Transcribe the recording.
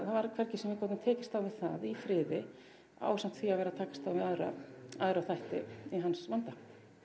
það var hvergi sem við gátum tekist á við það í friði ásamt því að vera að takast á við aðra aðra þætti í hans vanda